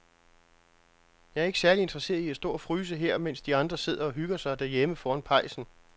Jeg er ikke særlig interesseret i at stå og fryse her, mens de andre sidder og hygger sig derhjemme foran pejsen.